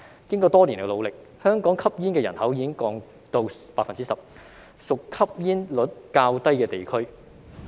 經過多年努力，香港吸煙人口已經下降到 10%， 屬吸煙率較低地區。